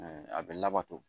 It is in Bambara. A bɛ labato